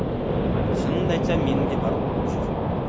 шынымды айтсам менің де барғым келіп жүр